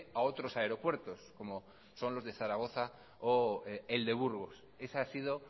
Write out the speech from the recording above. a otros aeropuertos como son los de zaragoza o el de burgos esa ha sido